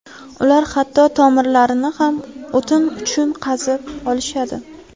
Ular hatto tomirlarni ham o‘tin uchun qazib olishadi.